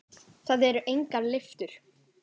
Það eru engar lyftur.